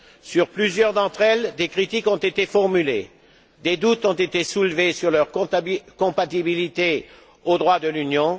Sur plusieurs d'entre elles, des critiques ont été formulées et des doutes ont été soulevés quant à leur compatibilité avec le droit de l'Union.